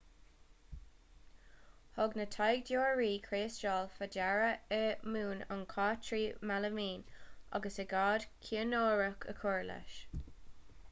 thug na taighdeoirí criostail faoi deara i mún an chait trí mhealaimín agus aigéad ciainiúrach a chur leis